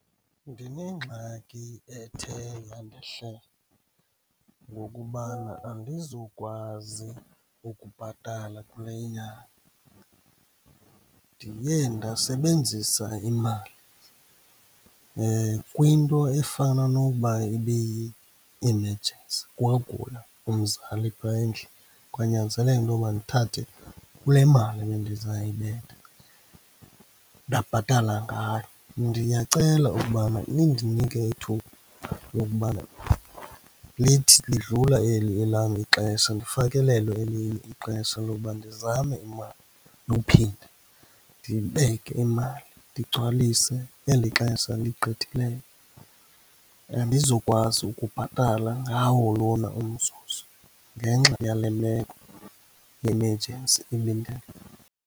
Ndinengxaki ethe yandehlela, ngokubana andizukwazi ukubhatala kule inyanga. Ndiye ndasebenzisa imali kwinto efana nokuba ibiyi-emergency kwagula umzali phaya endlini, kwanyanzeleka intoba ndithathe kule mali ebendizayibetha ndabhatala ngayo. Ndiyacela ukubana nindinike ithuba lokubana lithi lidlula eli elam ixesha ndifakelelwe elinye ixesha lowuba ndizame imali yophinda ndibeke imali ndigcwalise eli xesha ligqithileyo. Andizukwazi ukubhatala ngawo lona umzuzu ngenxa yale meko yemejensi .